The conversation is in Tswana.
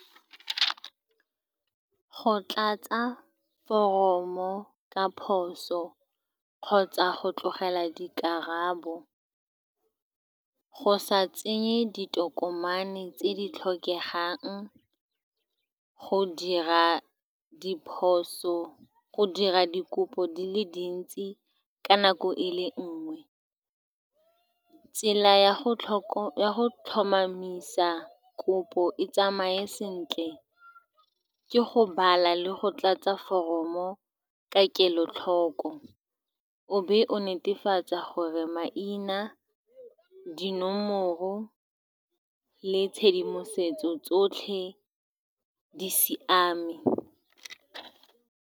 Go tlatsa foromo ka phoso, kgotsa go tlogela dikarabo, go sa tsenye ditokomane tse di tlhokegang, go dira diphoso, go dira dikopo di le dintsi ka nako e le nngwe. Tsela ya go go tlhomamisa kopo e tsamaye sentle ke go bala le go tlatsa foromo ka kelotlhoko, o be o netefatsa gore maina, dinomoro le tshedimosetso tsotlhe di siame.